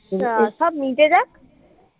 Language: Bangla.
সব মিটে যাক